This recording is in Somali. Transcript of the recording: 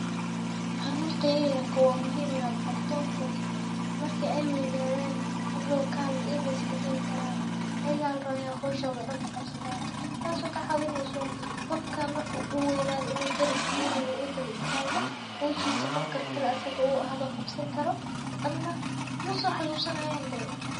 Carurta yaryarka ah wa muhiim in an baro oo hadow marka wey nadan heblow kale ii lis madihi karan oo howshoda daan qabsan taso kacawineyso inu ninka dariska diwin oo qof karti leeh uu noqde oo howshida kasoboxo.